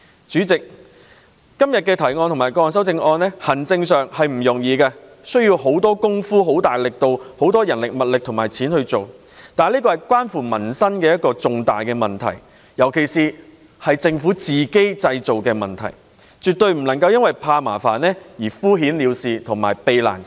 主席，今天的原議案及各項修正案的建議在行政上不容易處理，當中涉及很多人力、物力及金錢，但這是關乎民生的一個重大問題，尤其這是政府自行製造的問題，所以政府絕不能因為怕麻煩而敷衍了事。